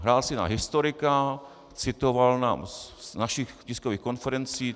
Hrál si na historika, citoval nás z našich tiskových konferencí.